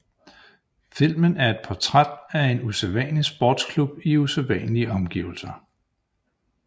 Filmen er et portræt af en usædvanlig sportsklub i usædvanlige omgivelser